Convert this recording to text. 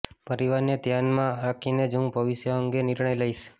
પરિવારને ધ્યાનમાં રાખીને જ હું ભવિષ્ય અંગે નિર્ણય લઈશ